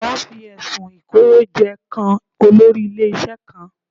Wọ́n fi ẹ̀sùn Ìkówójẹ kan olórí ilé-iṣẹ́ kan